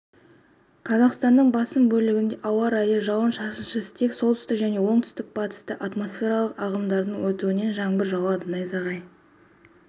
қазақстанның басым бөлігінде ауа райы жауын-шашынсыз тек солтүстік және оңтүстік-батыста атмосфералық ағымдардың өтуінен жаңбыр жауады найзағай